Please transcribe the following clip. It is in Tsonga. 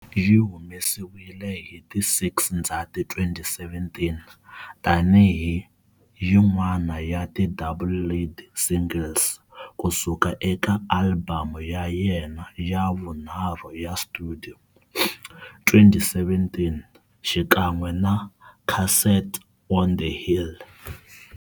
Yi humesiwile hi ti 6 Ndzhati 2017 tani hi yin'wana ya ti double lead singles kusuka eka alibamu ya yena ya vunharhu ya studio, 2017, xikan'we na" Castle on the Hill".